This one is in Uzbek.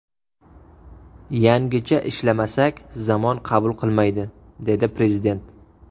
Yangicha ishlamasak, zamon qabul qilmaydi”, dedi Prezident.